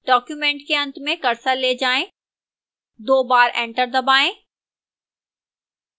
document के अंत में cursor ले जाएं दो बार एंटर दबाएं